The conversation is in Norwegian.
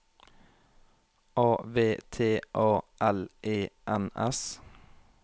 A V T A L E N S